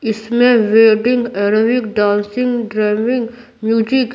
इसमें vending aerobic dancing driving music --